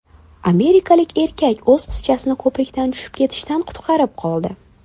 Amerikalik erkak o‘z qizchasini ko‘prikdan tushib ketishdan qutqarib qoldi.